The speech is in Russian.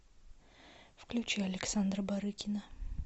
включи александра барыкина